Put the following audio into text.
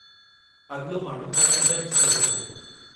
अॻिलो माण्हू हाणे अंदरि अची सघे थो!